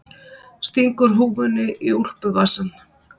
Stingur húfunni í úlpuvasann.